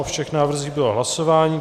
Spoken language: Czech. O všech návrzích bylo hlasováno.